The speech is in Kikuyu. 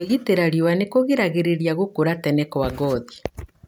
Kwĩgitĩra riua nĩkũgiragĩrĩrĩa gũkũra tene kwa ngothi.